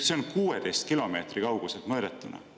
See oli 16 kilomeetri kauguselt mõõdetuna.